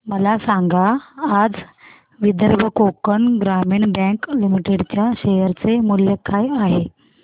मला सांगा आज विदर्भ कोकण ग्रामीण बँक लिमिटेड च्या शेअर चे मूल्य काय आहे